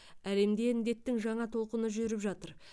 әлемде індеттің жаңа толқыны жүріп жатыр